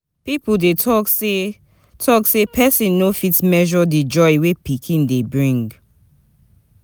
Pipo dey talk sey dey talk sey pesin no fit measure di joy wey pikin dey bring.